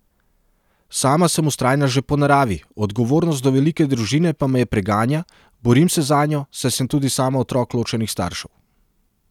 Sama sem vztrajna že po naravi, odgovornost do velike družine pa me preganja, borim se zanjo, saj sem tudi sama otrok ločenih staršev.